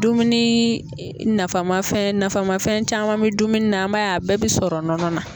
Dumuni nafa ma fɛn nafama fɛn caman bɛ dumuni na an b'a ye a bɛɛ bɛ sɔrɔ nɔnɔ na.